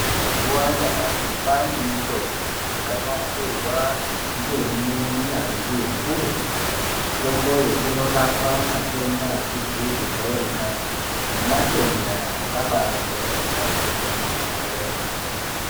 Mazuva anyamashi kwaane mitombo yakanasirwa ngeminyanzvi ukurutu. Mitomboyo inorapa matenda asizi kujairikapi nematenda akabajairika kwemene.